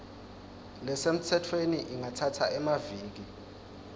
lesemtsetfweni ingatsatsa emaviki